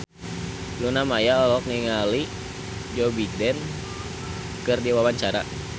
Luna Maya olohok ningali Joe Biden keur diwawancara